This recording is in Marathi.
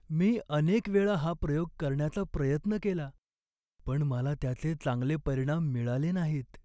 मी अनेक वेळा हा प्रयोग करण्याचा प्रयत्न केला पण मला त्याचे चांगले परिणाम मिळाले नाहीत.